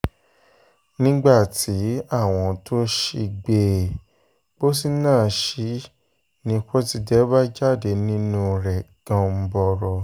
nígbà tí àwọn tó sì gbé um pósí náà sí i ni pọ́tidé bá jáde nínú um rẹ̀ ganbọrọ